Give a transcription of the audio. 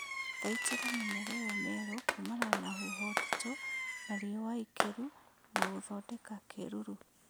Thaitĩra mĩmera ĩyo mĩerũ kumana na huho nditũ na riũa ikĩru na gũthondeka kĩruru